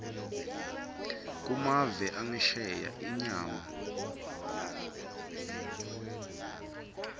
kumave angesheya inyama